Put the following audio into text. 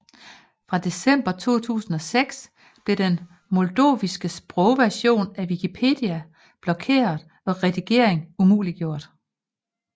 Fra december 2006 blev den moldoviske sprogversion af Wikipedia blokeret og redigering umuliggjort